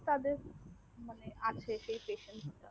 স্বদেশ মানে আছে সেই pesent টা